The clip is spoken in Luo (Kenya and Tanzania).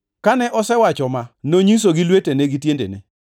Kane osewacho ma, nonyisogi lwetene gi tiendene,